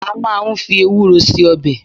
A máà ń fi ewúro se ọbẹ̀